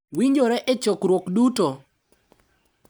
Winjore e chokruok duto,